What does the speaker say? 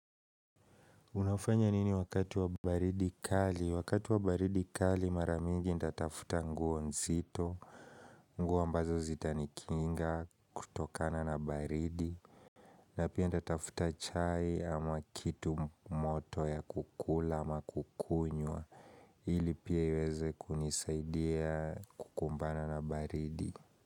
Unafanya nini wakati wa baridi kali? Wakati wa baridi kali mara mingi ndatafuta nguo nzito, nguo ambazo zitanikinga kutokana na baridi, na pia ndatafuta chai ama kitu moto ya kukula ama kukunywa, ili pia iweze kunisaidia kukumbana na baridi.